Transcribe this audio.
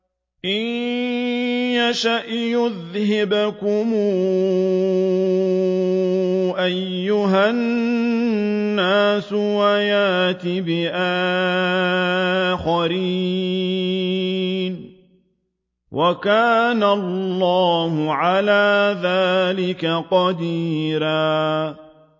إِن يَشَأْ يُذْهِبْكُمْ أَيُّهَا النَّاسُ وَيَأْتِ بِآخَرِينَ ۚ وَكَانَ اللَّهُ عَلَىٰ ذَٰلِكَ قَدِيرًا